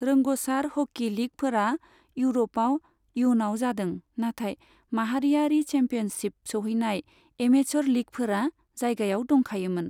रोंग'सार hockey लीगफोरा इउरपआव इयुनाव जादों, नाथाय माहारियारि चेम्पियनशिपसिम सौहैनाय एमेचर लीगफोरा जायगायाव दंखायोमोन।